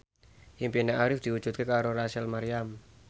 impine Arif diwujudke karo Rachel Maryam